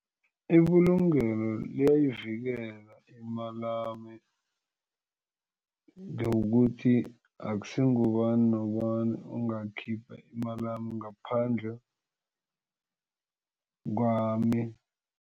Ibulungelo liyayivikela imalami ngokuthi akusingubani nobani ongakhipha imalami ngaphandle kwami.